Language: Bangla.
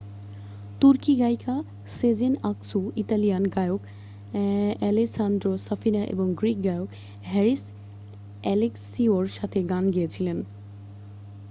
তুর্কি গায়িকা সেজেন আকসু ইতালিয়ান গায়ক অ্যাালেসান্দ্রো সাফিনা এবং গ্রীক গায়ক হ্যারিস অ্যাালেক্সিওর সাথে গান গেয়েছিল